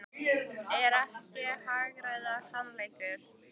Er ég ekki að hagræða sannleikanum?